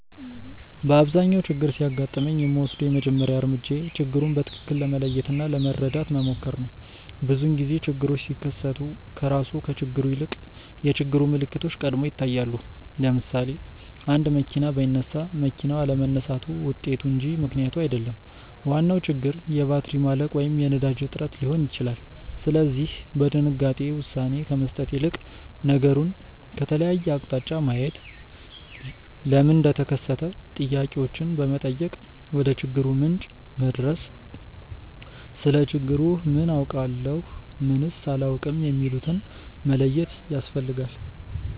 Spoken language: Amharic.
በአብዛኛው ችግር ሲያጋጥመኝ የምወስደው የመጀመሪያው እርምጃዬ ችግሩን በትክክል ለመለየት እና ለመረዳት መሞከር ነው። ብዙውን ጊዜ ችግሮች ሲከሰቱ ከራሱ ከችግሩ ይልቅ የችግሩ ምልክቶች ቀድመው ይታያሉ። ለምሳሌ፣ አንድ መኪና ባይነሳ መኪናው አለመነሳቱ ውጤቱ እንጂ ምክንያቱ አይደለም፤ ዋናው ችግር የባትሪ ማለቅ ወይም የነዳጅ እጥረት ሊሆን ይችላል። ስለዚህ በድንጋጤ ውሳኔ ከመስጠት ይልቅ ነገሩን ከተለያየ አቅጣጫ ማየት፣ ለምን እንደተከሰተ ጥያቄዎችን በመጠየቅ ወደችግሩ ምንጭ መድረስ፣ ስለ ችግሩ ምን አውቃለሁ? ምንስ አላውቅም? የሚሉትን መለየት ያስፈልጋል።